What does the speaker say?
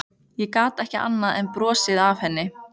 Ég gat ekki annað en brosað að henni.